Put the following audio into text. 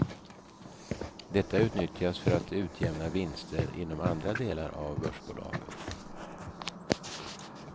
Detta utnyttjas för att utjämna vinster inom andra delar av börsbolaget.